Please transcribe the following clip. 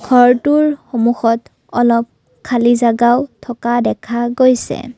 ঘৰটোৰ সন্মুখত অলপ খালী জাগাও থকা দেখা গৈছে।